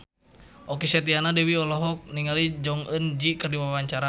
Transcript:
Okky Setiana Dewi olohok ningali Jong Eun Ji keur diwawancara